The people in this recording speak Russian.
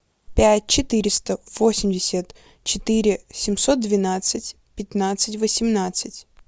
пять четыреста восемьдесят четыре семьсот двенадцать пятнадцать восемнадцать